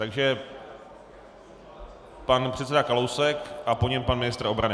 Takže pan předseda Kalousek a po něm pan ministr obrany.